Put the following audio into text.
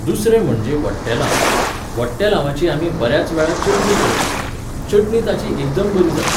दुसरें म्हणजें वट्टेलांव. वट्टेलांवाची आमी बऱ्याच वेळा चटणी करतात. चटणी ताची एकदम बरी जाता